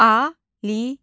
Aliyə.